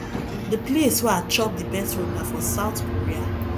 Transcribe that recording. the place wey i chop the best food na for south korea